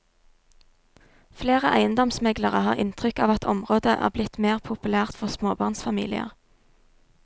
Flere eiendomsmeglere har inntrykk av at området er blitt mer populært for småbarnsfamilier.